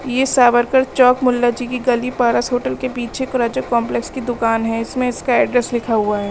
यह सावरकर चौक मुल्लाजी की गली पारस होटल के पीछे कॉम्पलेक्स की दुकान है इसमें इसका एड्रेस लिखा हुआ है।